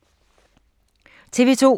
TV 2